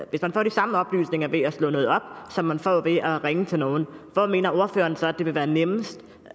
hvis man får de samme oplysninger ved at slå noget op som man får ved at ringe til nogen hvor mener ordføreren så at det vil være nemmest